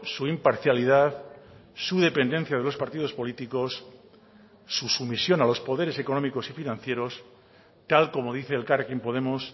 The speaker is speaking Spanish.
su imparcialidad su dependencia de los partidos políticos su sumisión a los poderes económicos y financieros tal como dice elkarrekin podemos